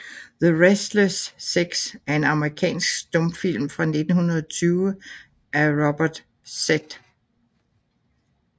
The Restless Sex er en amerikansk stumfilm fra 1920 af Robert Z